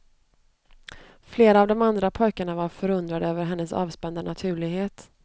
Flera av de andra pojkarna var förundrade över hennes avspända naturlighet.